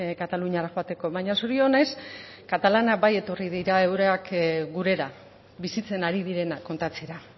kataluniara joateko baina zorionez katalanak bai etorri dira eurak gurera bizitzen hari direna kontatzera